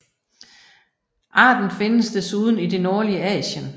Arten findes desuden i det nordlige Asien